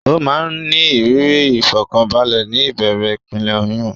Ó máa ń ní ìrírí ìfọ̀kànbalẹ̀ ní ìbẹ̀rẹ̀ ìpele oyún.